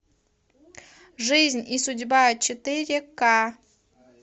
жизнь и судьба четыре к